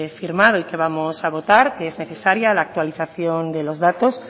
firmado y que vamos a votar que es necesaria la actualización de los datos